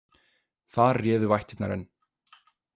Þar réðu vættirnar enn.